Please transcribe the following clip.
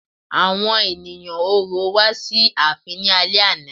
Àwọn ènìyàn Orò wá sí ààfin ní alẹ́ àná.